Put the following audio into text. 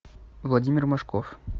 владимир машков